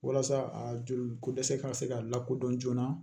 Walasa a joli ko dɛsɛ ka se ka lakodɔn joona